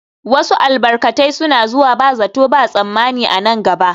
Wasu albarkatai suna zuwa ba zato ba tsammani a nan gaba